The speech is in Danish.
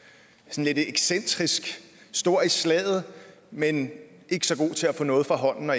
lidt excentrisk stor i slaget men ikke så god til at få noget fra hånden når